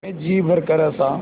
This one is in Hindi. मैं जी भरकर हँसा